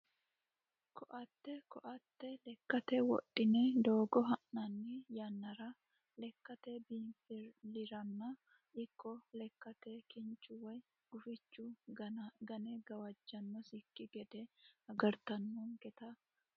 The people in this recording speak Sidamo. Koatte koatte lekkate wodhine doogo ha'nanni yannara lekkate biinfillirano ikko lekkanke kinchu woyi gufichu gane gawajjannosekki gede agartannonketa koattete yineemmo